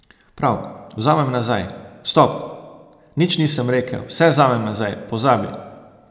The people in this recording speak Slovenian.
Prav, vzamem nazaj, stop, nič nisem rekel, vse vzamem nazaj, pozabi.